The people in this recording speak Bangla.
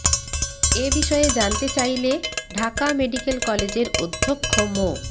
এ বিষয়ে জানতে চাইলে ঢাকা মেডিক্যাল কলেজের অধ্যক্ষ মো